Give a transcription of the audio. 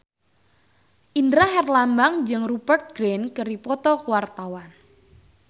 Indra Herlambang jeung Rupert Grin keur dipoto ku wartawan